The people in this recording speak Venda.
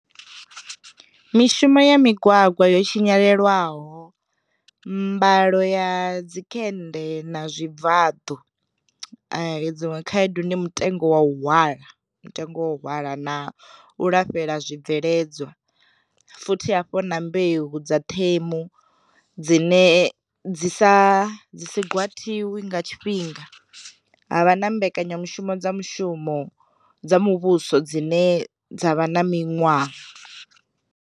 Mishumo ya migwagwa yo tshinyalelwaho, mbalo ya dzi khende na zwi bvaḓu, dziṅwe khaedu ndi mutengo wa u hwala mutengo hwala na u lafhela zwi bveledzwa, futhi hafho na mbeu dza ṱhemu dzine dzi sa dzi si gwatiwi nga tshifhinga, havha na mbekanyamushumo dza mushumo dza muvhuso dzine dza vha na miṅwaha.